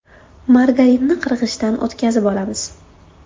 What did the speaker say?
Margarinni qirg‘ichdan o‘tkazib olamiz.